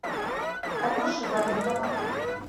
алеши валитова